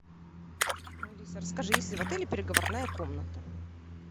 алиса расскажи есть ли в отеле переговорная комната